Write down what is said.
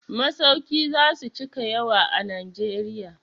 Masauki za su cika yawa a Najeriya.